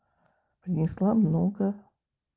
принесла много